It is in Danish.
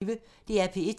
DR P1